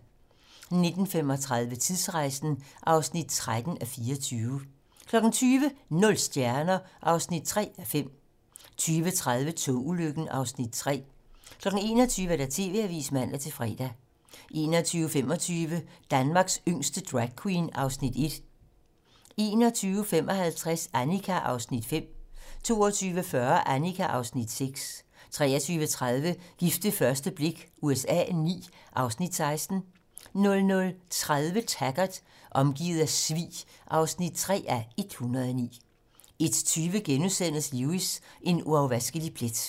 19:35: Tidsrejsen (13:24) 20:00: Nul stjerner (3:5) 20:30: Togulykken (Afs. 3) 21:00: TV-Avisen (man-fre) 21:25: Danmarks yngste dragqueen (Afs. 1) 21:55: Annika (Afs. 5) 22:40: Annika (Afs. 6) 23:30: Gift ved første blik USA IX (Afs. 16) 00:30: Taggart: Omgivet af svig (3:109) 01:20: Lewis: En uafvaskelig plet *